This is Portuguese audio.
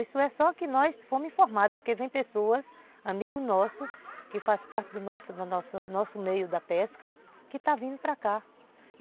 Isso é só que nós fomos informados, porque vem pessoas, amigo nosso, que faz parte do nosso do nosso meio da pesca, que estão vindo para cá.